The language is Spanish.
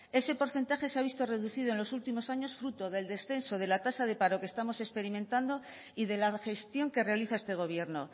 ese porcentaje se ha visto reducido en los últimos años fruto del descenso de la tasa de paro que estamos experimentando y de la gestión que realiza este gobierno